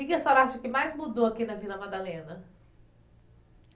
Que que a senhora acha que mais mudou aqui na Vila Madalena?